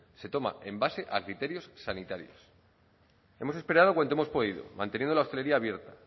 se toma en base a criterios sanitarios hemos esperado cuanto hemos podido manteniendo la hostelería abierta